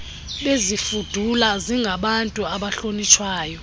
bezifudula zingabantu abahlonitshwayo